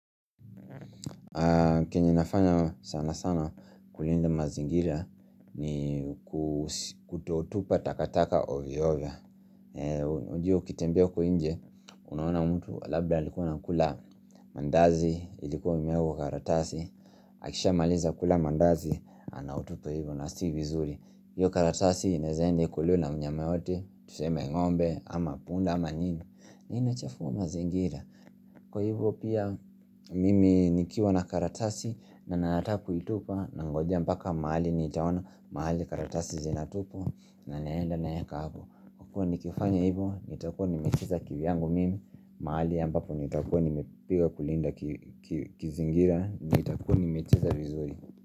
Kenye nafanya sana sana kulinda mazingira ni kutotupa takataka ovioviao Unjio kitembeo kuhinje unawona mtu alabila likuna kula mandazi ilikuwa imeo karatasi. Akisha maliza kula mandazi anautupa hivyo na si vizuri Hivyo karatasi inezende kuleo na mnye mayote tuseme ngombe ama punda ama nini Nino chafuwa mazingira Kwa hivyo pia. Mimi nikiwa na karatasi na naataka kuitupa na ngojia mpaka mahali nitaona mahali karatasi zinatupwa na naenda na yaka hapo. Kwa nikifanya hivyo nitakua nimetiza kivyangu mimi mahali ambako nitakua nimepiga kulinda kizingira nitakua nimetiza vizuri.